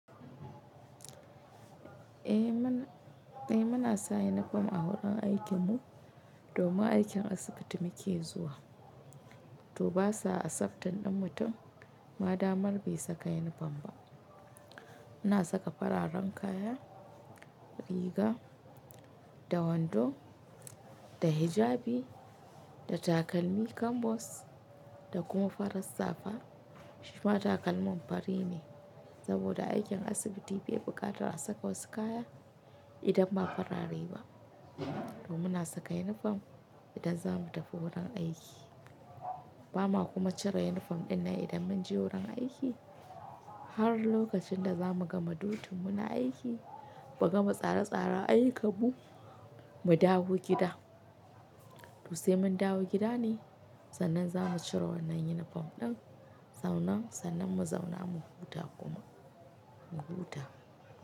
Eh muna, eh muna saka unifom a wurin aikin mu domin aikin asibiti muke zuwa. To ba sa accepting ɗin mutum ma damar bai saka unifom ba. Muna saka fararen kaya, riga da wando da hijabi da takalmi kambos da kuma farar safa. Shi ma takalmin fari ne saboda aikin asibiti bai buƙatar a saka wasu kaya idan ma farar riga. Domin muna saka unifom idan za mu tafi wurin aiki. Ba ma kuma cire unifom ɗin nan idan mun je wurin aiki har lokacin da za mu gama dutin mu na aiki ba gama tsare-tsare ayyukanmu mu dawo gida. To sai mun dawo gida ne sannan za mu cire wannan unifom ɗin zaune sannan mu zauna mu huta kuma mu huta.